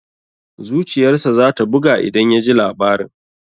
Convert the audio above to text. Zuciyar sa za ta buga idan ya ji labarin.